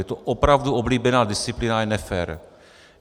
Je to opravdu oblíbená disciplína a je nefér.